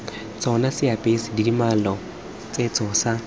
tsona seapesa dimela setso sa